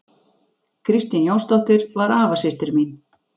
Kristín Jónsdóttir var afasystir mín.